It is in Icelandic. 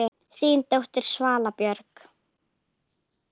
Þín dóttir, Svala Björk.